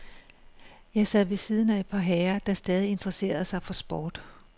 Jeg sad ved siden af et par herrer, der stadig interesserede sig for sport.